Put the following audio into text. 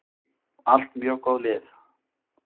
Allt mjög góð lið.